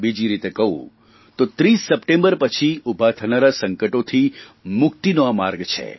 બીજી રીતે કહું તો 30 સપ્ટેમ્બર પછી ઉભા થનારા સંકટોથી મુક્તિનો આ માર્ગ છે